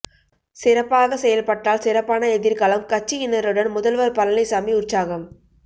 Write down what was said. சிறப்பாக செயல்பட்டால் சிறப்பான எதிர்காலம் கட்சியினருடன் முதல்வர் பழனிசாமி உற்சாகம்